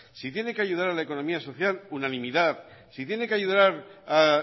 si tiene que ayudar a la economía social unanimidad si tiene que ayudar a